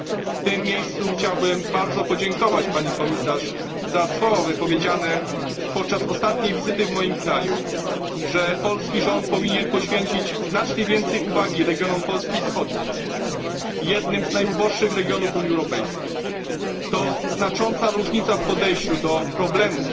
W tym miejscu chciałbym bardzo podziękować pani Komisarz za słowa wypowiedziane podczas ostatniej wizyty w moim kraju, że polski rząd powinien poświęcić znacznie więcej uwagi regionom Polski wschodniej jednym z najuboższych regionów Unii Europejskiej. To znacząca różnica w podejściu do problemów,